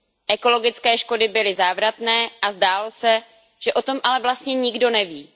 Ekologické škody byly závratné, ale zdálo se, že o tom vlastně nikdo neví.